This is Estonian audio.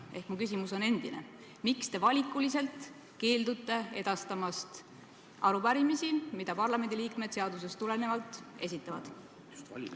Ehk mu küsimus on endine: miks te valikuliselt keeldute edastamast arupärimisi, mida parlamendiliikmed seadusest tulenevalt esitavad?